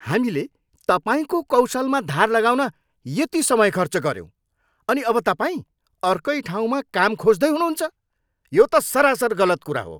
हामीले तपाईँको कौशलमा धार लगाउन यति समय खर्च गऱ्यौँ अनि अब तपाईँ अर्कै ठाउँमा काम खोज्दै हुनुहुन्छ? यो त सरासर गलत कुरा हो।